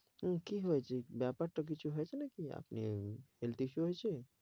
উম কী হয়েছে? ব্যাপার তো কিছু হয়েছে নাকি আপনি health issue হয়েছে?